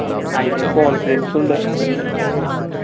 അയിന്റെ ഒരു confidence ഉം ഉണ്ട്